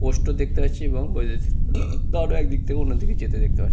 স্পষ্ট দেখতে পাচ্ছি এবং তার একদিকে অন্যদিকে যেতে দেখতে পা--